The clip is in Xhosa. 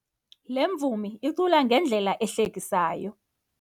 Le mvumi icula ngendlela ehlekisayo.